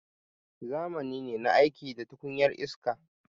Zamani ne na aiki da tukunyar iska.